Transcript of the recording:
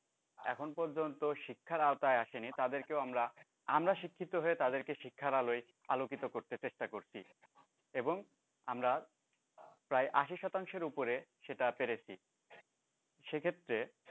এখন পর্যন্ত শিক্ষার আওতায় আসেনি তাদেরকে আমরা, আমরা শিক্ষিত হয়ে তাদেরকে শিক্ষার আলোয় আলোকিত করতে চেষ্টা করছি এবং আমরা প্রায় আশি শতাংশের উপরে সেটা পেরেছি সেক্ষেত্রে